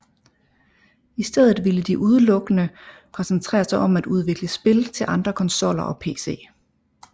I stedet ville de udelukkende koncentrere sig om at udvikle spil til andre konsoller og pc